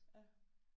Ja